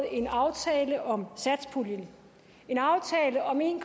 en aftale om satspuljen en aftale om en